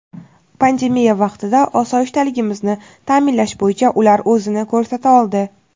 Pandemiya vaqtida osoyishtaligimizni ta’minlash bo‘yicha ular o‘zini ko‘rsata oldi.